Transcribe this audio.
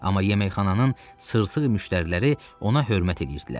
Amma yeməkxananın sırtıq müştəriləri ona hörmət edirdilər.